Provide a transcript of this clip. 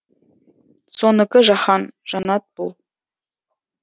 сонікі жаһан жанат бұл